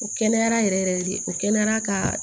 O kɛnɛyara yɛrɛ yɛrɛ de o kɛnɛyara ka